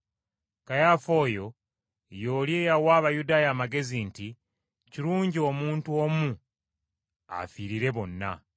Kayaafa oyo, y’oli eyawa Abayudaaya amagezi nti, “Kirungi omuntu omu afiirire bonna.”